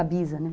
A bisa, né?